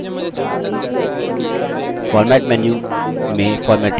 format menu में formatting और